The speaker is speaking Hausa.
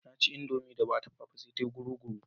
Na ci indomie da ba a dafa ba sai ta yi kamar guguru